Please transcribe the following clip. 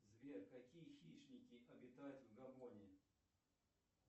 сбер какие хищники обитают в габоне